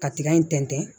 Ka tiga in tɛntɛn